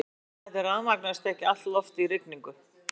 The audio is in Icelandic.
Þar af leiðandi rafmagnast ekki allt loftið í rigningu.